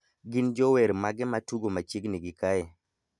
gin jower mage matugo machiegni gi kae